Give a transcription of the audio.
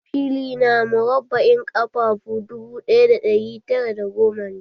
Fili na murabba'in ƙafafu dubu ɗaya ɗari tara da goma ne.